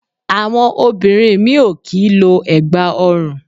Àwọn obìnrin mí ì ò kì í lo ẹ̀gbà ọrùn